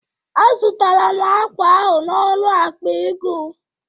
Azụtara m akwa ahụ n'ọnụ akpa ego